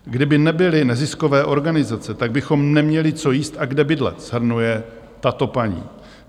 "Kdyby nebyly neziskové organizace, tak bychom neměli co jíst a kde bydlet," shrnuje tato paní.